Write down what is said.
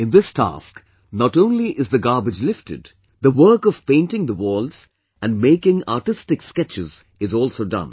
In this task, not only is the garbage lifted, the work of painting the walls and making artistic sketches is also done